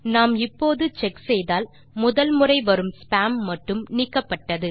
நாம் இப்போது செக் செய்தால் முதல் முறை வரும் ஸ்பாம் மட்டும் நீக்கப்பட்டது